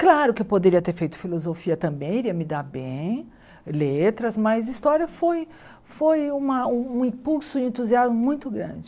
Claro que eu poderia ter feito filosofia também, iria me dar bem, letras, mas história foi foi uma um impulso e entusiasmo muito grande.